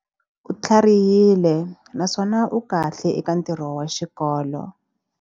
U tlharihile naswona u kahle eka ntirho wa xikolo.